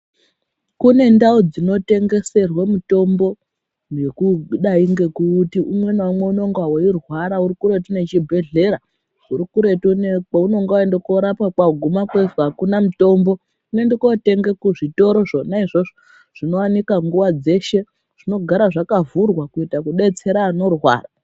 Kune ndau dzinotengeserwe mitombo nekudai ngekuti umwe naumwe unenge wechirwara uri kuretu nechibhedhleya uri kuretu ngenyaya yekuti kwaunenge waende korapiwa waguma kweizi akune mitombo unoende kotenge kuzvitoro zvona izvozvo zvinowanika nguwa dzeshe zvinogare zvakavhurwa kuitira kudetsera anorwara.